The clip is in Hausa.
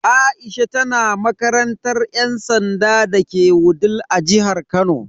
Aisha tana makarantar yan sanda dake Wudil a jihar Kano.